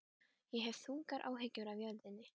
Ég hef þungar áhyggjur af jörðinni.